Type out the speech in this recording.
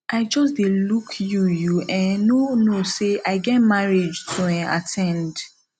i just dey look you you um no knowsay i get marriage to um at ten d